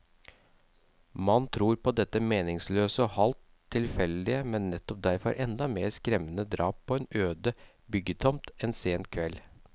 Man tror på dette meningsløse og halvt tilfeldige, men nettopp derfor enda mer skremmende drap på en øde byggetomt en sen kveld.